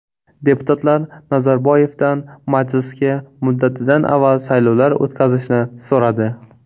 Deputatlar Nazarboyevdan majlisga muddatidan avval saylovlar o‘tkazishni so‘radi.